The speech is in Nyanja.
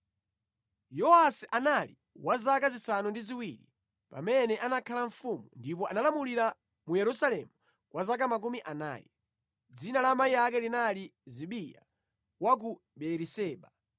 Yowasi anali wa zaka zisanu ndi ziwiri pamene anakhala mfumu, ndipo analamulira mu Yerusalemu kwa zaka makumi anayi. Dzina la amayi ake linali Zibiya wa ku Beeriseba.